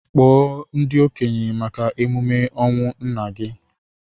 Kpọọ ndị okenye maka emume ọnwụ nnanna gị!